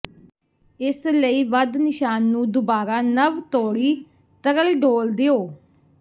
ਇਸ ਲਈ ਵੱਧ ਨਿਸ਼ਾਨ ਨੂੰ ਦੁਬਾਰਾ ਨਵ ਤੋੜੀ ਤਰਲ ਡੋਲ੍ਹ ਦਿਓ